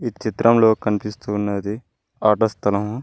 ఈ చిత్రంలో కనిపిస్తు ఉన్నది ఆట స్థలము.